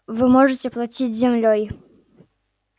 вы можете платить землёй